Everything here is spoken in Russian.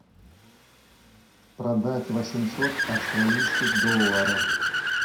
продать восемьсот австралийских долларов